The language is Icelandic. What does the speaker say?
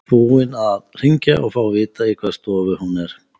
Búinn að hringja og fá að vita í hvaða stofu hún er.